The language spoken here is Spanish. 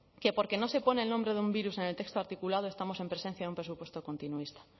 que porque no se pone el nombre de un virus en el texto articulado estamos en presencia de un presupuesto continuista